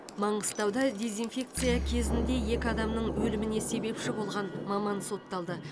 маңғыстауда дезинфекция кезінде екі адамның өліміне себепші болған маман сотталды